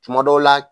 Tuma dɔw la